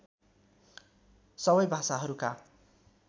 सबै भाषाहरूका